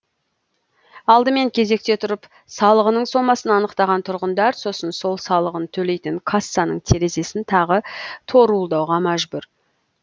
алдымен кезекте тұрып салығының сомасын анықтаған тұрғындар сосын сол салығын төлейтін кассаның терезесін тағы торуылдауға мәжбүр